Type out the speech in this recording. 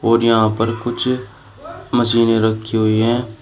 और यहां पर कुछ मशीनें रखी हुई हैं।